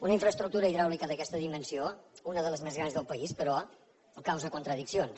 una infraestructura hidràulica d’aquesta dimensió una de les més grans del país però causa contradiccions